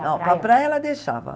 Não, para a praia ela deixava.